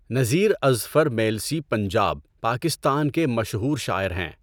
نذیر اذفر میلسی پنجاب، پاکستان کے مشہور شاعر ہیں۔